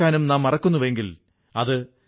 വരൂ നമുക്ക് തൂത്തുക്കുടിയിലേക്കു പോകാം